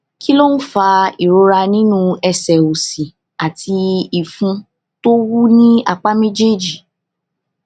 kí ló ń fa ìrora nínú ẹsè òsì àti ìfun tó wú ní apá méjèèjì